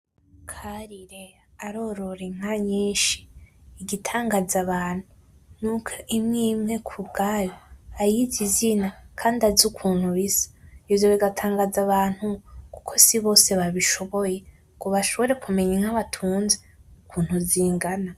Karire arorora inka nyinshi. Igitangaza abantu nuko imwe imwe ayizi izina kandi azi ukuntu isa, ivyo bigatangaza abantu kuko ai bose babishoboy ng bashobore kumenya inka batunze ukuntu zingana